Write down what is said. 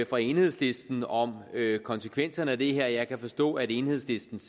fra enhedslisten om konsekvenserne af det her jeg kan forstå at enhedslistens